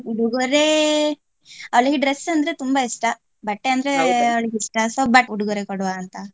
ಉಡುಗೊರೆ ಅವ್ಳಿಗೆ dress ಅಂದ್ರೆ ತುಂಬಾ ಇಷ್ಟ ಬಟ್ಟೆ ಅಂದ್ರೆ ಅವ್ಳಿಗೆ ಇಷ್ಟ so ಬಟ್ಟೆ ಉಡುಗೊರೆ ಕೊಡುವ ಅಂತ.